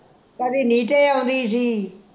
ਕਦੀ ਨੀਟੇ ਆਉੰਦੀ ਸੀ